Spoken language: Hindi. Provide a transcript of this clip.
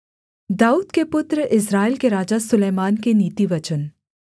दाऊद के पुत्र इस्राएल के राजा सुलैमान के नीतिवचन